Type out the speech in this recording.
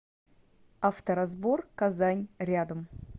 авторазбор казань рядом